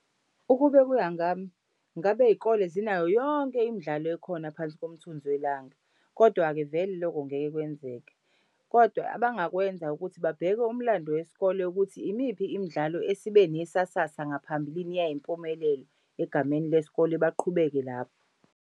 Ukube kuya ngami ngabe iy'kole zinayo yonke imidlalo ekhona phansi komthunzi welanga, kodwa-ke vele loko ngeke kwenzeke. Kodwa abangakwenza ukuthi babheke umlando wesikole ukuthi imiphi imidlalo esibe nesasasa ngaphambilini yayimpumelelo egameni lesikole baqhubeke lapho.